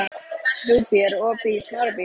Rúbý, er opið í Smárabíói?